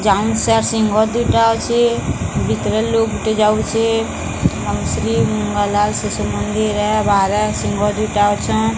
ଯାଉନ୍ sir ଶିଙ୍ଗ ଦୁଇଟା ଅଛେ। ଭିତରେ ଲୋକ ଗୁଟେ ଯାଉଛେ। ସ୍ବାମୀ ସ୍ତ୍ରୀ ଶିଶୁ ମନ୍ଦିର ଏ ବାହାରେ ଶିଙ୍ଗ ଦୁଇଟା ଅଛନ୍।